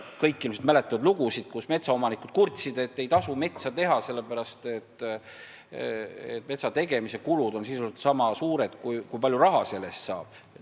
Kõik vist mäletavad, kuidas metsaomanikud kurtsid, et ei tasu metsa teha, sest metsategemise kulud on sisuliselt niisama suured, kui palju raha puidu eest saab.